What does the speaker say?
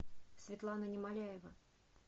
светлана немоляева